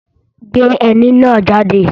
Gbé ẹní náà jáde!